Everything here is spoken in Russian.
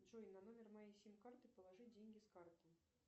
джой на номер моей сим карты положи деньги с карты